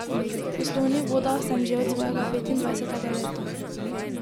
V poslovnih vodah sem že od svojega petindvajsetega leta.